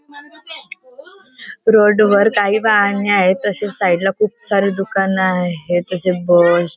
road वर काही वाहने आहेत तसेच साईड ला खूप सारे दुकान आहेत जसे बस --